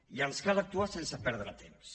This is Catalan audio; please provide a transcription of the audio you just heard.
i ens cal actuar sense perdre temps